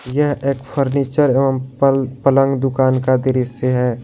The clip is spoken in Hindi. यह एक फर्नीचर एवं पलंग दुकान का दृश्य है।